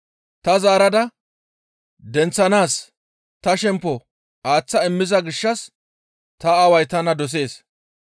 Ta zaarada denththanaas ta shemppo aaththa immiza gishshas ta Aaway tana dosees.